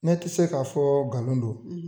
Ne te se k'a fɔ galon don